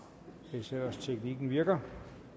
hvis ellers teknikken virker